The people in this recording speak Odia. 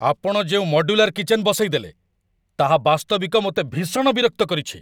ଆପଣ ଯେଉଁ ମଡ୍ୟୁଲାର କିଚେନ ବସେଇଦେଲେ, ତାହା ବାସ୍ତବିକ ମୋତେ ଭୀଷଣ ବିରକ୍ତ କରିଛି।